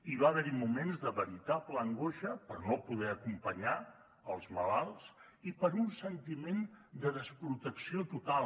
hi va haver moments de veritable angoixa per no poder acompanyar els malalts i per un sentiment de desprotecció total